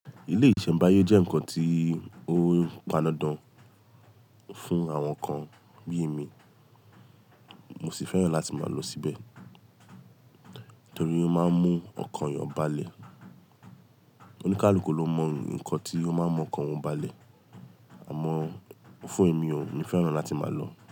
Ilé-ìṣẹ̀mbáyé jẹ́ nǹkan tí ó padandan fún àwọn kan bí i mi. Mo sì fẹ́ràn láti máa lọ síbẹ̀ torí ó máa ń mú ọkàn yàn ba lẹ̀. Oníkálukú ló mọ nǹkan tí ó máa ń mú ọkàn wọn bá lẹ̀, àmọ́ fún èmi o, èmi fẹ́ràn láti máa lọ.